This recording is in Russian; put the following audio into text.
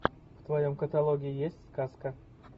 в твоем каталоге есть сказка